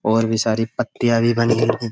और भी सारी पत्तियां भी बनी हैं।